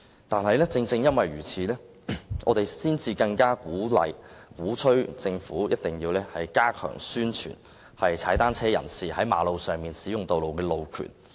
但是，正因如此，我們才更要敦促政府一定要加強宣傳踏單車人士在道路上使用單車的路權。